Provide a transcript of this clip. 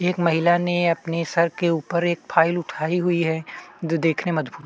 एक महिला ने अपना सर के ऊपर एक फाइल उठाई हुई है जो देखने में अदभूत --